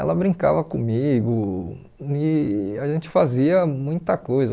ela brincava comigo e a gente fazia muita coisa.